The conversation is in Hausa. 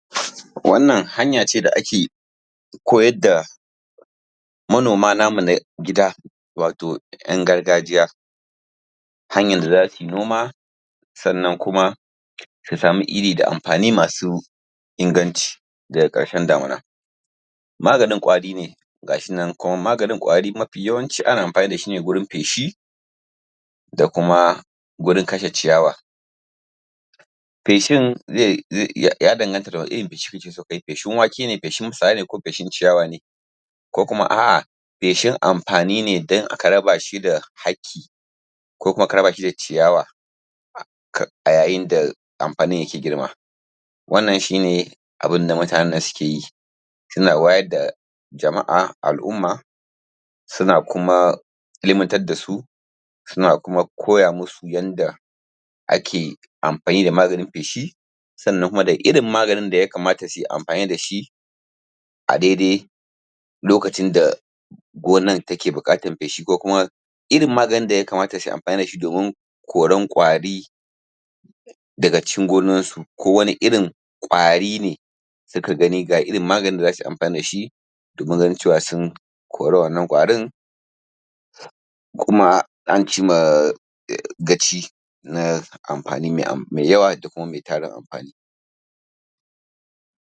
Wannan hanyace da ake koyadda, manoma namu na gida, wato yan gargajiya, hanyar da za sui noma, sannan kuma, su samu iri da ampani masu inganci, daga karshen damuna, maganin kwari ne, gashinan, kuma maganin kwari mafi yawanci ana ampani dashi ne gurin feshi dakuma, gurin kashe ciyawa, feshin zai iya ya danganta daga wani irin feshi ne kake so kayi feshin wake ne feshin tsutsa ne ko feshin ciya wane ko kuma a feshin ampani ne don ina ka raba shi da haki, ko kuma aka raba shi da ciyawa, a ya yinda amfani yake girma, wannan shi ne abinda mutanen nan sukeyi, suna wa yadda, jamaa alumma, suna kuma ilmantar dasu, suna kuma koya musu yanda ake amfani da maganin feshi, sannan kuma da irin maganin da yakamata suyi amfani dashi, a daidai, lokacin da gonan take bukatar feshi ko kuma irin maganin da yakama ta suyi ampani dashi domin koron kwari daga cikin gonarsu ko wani irin kwari ne, suka gani ga irin maganin da zasuyi amfani dashi, domin ganin cewa sun kori wannan kwarin, kuma ancima gaci, na amfani mai am yawa dakuma mai tarin amfani.